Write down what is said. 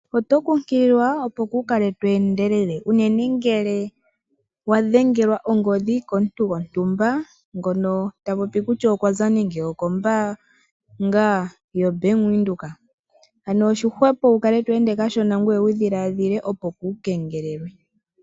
Oto kunkililwa opo kuu kale to endelele unene ngele wa dhengelwa ongodhi komuntu gontumba ngono ta popi kutya okwa za nande okombaanga yoBank Windhoek. Ano oshihwepo wu kale to ende kashona ngoye wu dhiladhile, opo kuu kengelelwe.